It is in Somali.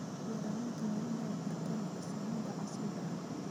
Beeralayda waa inay bartaan farsamada casriga ah.